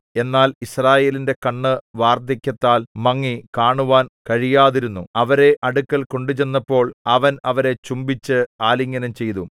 എന്നാൽ യിസ്രായേലിന്റെ കണ്ണ് വാർദ്ധക്യത്താൽ മങ്ങി കാണുവാൻ കഴിയാതിരുന്നു അവരെ അടുക്കൽ കൊണ്ടുചെന്നപ്പോൾ അവൻ അവരെ ചുംബിച്ച് ആലിംഗനം ചെയ്തു